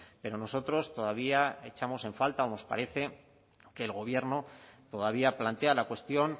pero nosotros todavía echamos en falta o nos parece que el gobierno todavía plantea la cuestión